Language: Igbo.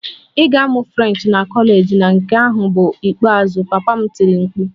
Ị ga-amụ French na kọleji na nke ahụ bụ ikpeazụ! Papa m tiri mkpu